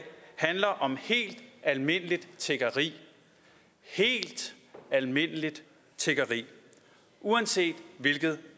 handler om helt almindeligt tiggeri helt almindeligt tiggeri uanset hvilket